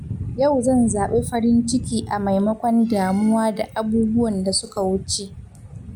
Yau zan zabi farin ciki a maimakon damuwa da abubuwan da suka wuce.